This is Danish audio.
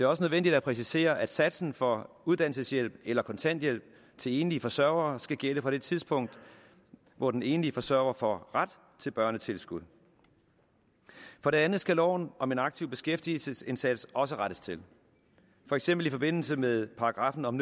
også nødvendigt at præcisere at satsen for uddannelseshjælp eller kontanthjælp til enlige forsørgere skal gælde fra det tidspunkt hvor den enlige forsørger får ret til børnetilskud for det andet skal loven om en aktiv beskæftigelsesindsats også rettes til for eksempel i forbindelse med paragraffen om